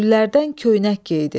Güllərdən köynək geydi.